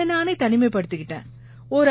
என்னை நானே தனிமைப்படுத்திக்கிட்டேன்